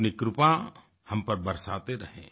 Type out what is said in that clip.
अपनी कृपा हम पर बरसाते रहें